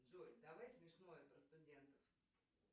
джой давай смешное про студентов